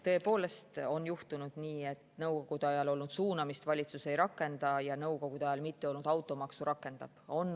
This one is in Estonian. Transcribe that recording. Tõepoolest on juhtunud nii, et Nõukogude ajal olnud suunamist valitsus ei rakenda ja Nõukogude ajal mitteolnud automaksu rakendab.